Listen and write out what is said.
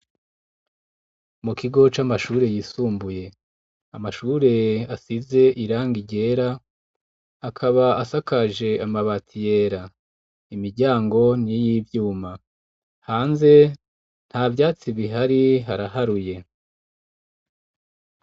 Mu kigo c'amashure yisumbuye amashure asize irangi ryera akaba asakaje amabati yera. Imiryango ni y'ivyuma. Hanze nta vyatsi bihari haraharuye.